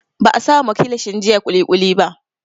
Ba a sama kilishin jiya kulikuli ba